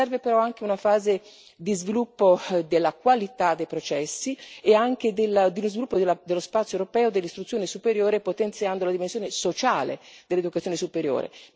Serve però anche una fase di sviluppo della qualità dei processi e anche di sviluppo dello spazio europeo dell'istruzione superiore, potenziando la dimensione sociale dell'istruzione superiore.